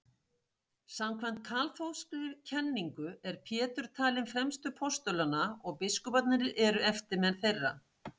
Samkvæmt kaþólskri kenningu er Pétur talinn fremstur postulanna og biskuparnir eru eftirmenn þeirra.